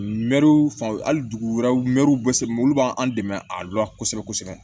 Mɛriw fanw mɛruw be se mɔ olu b'an dɛmɛ a lo la kosɛbɛ kosɛbɛ